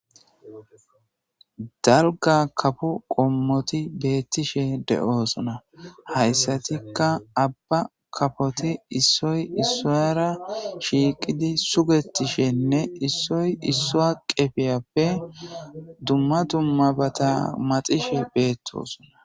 dalgga kafo qoommoti beettishe de'oosona hayssatikka aabba kafoti issoy issuwara shiiqidi suggetishenne issoy issuwa qefiyappe dumma dummabata maaxishe beettosona